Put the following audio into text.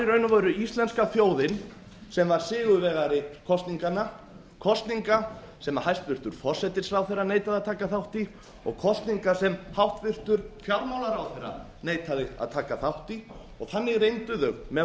veru íslenska þjóðin sem var sigurvegari kosninganna kosninga sem hæstvirtur forsætisráðherra neitaði að taka þátt í og kosningar sem háttvirtur fjármálaráðherra neitaði að taka þátt í þannig reyndu þau með